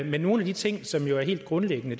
men nogle af de ting som jo er helt grundlæggende